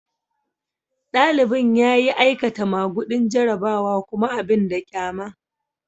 Dalibin ya yi aikata magudin jarrabawa kuma abin da kyama.